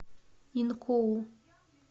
инкоу